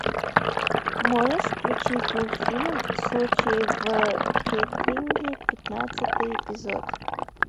можешь включить мультфильм случай в кеттеринге пятнадцатый эпизод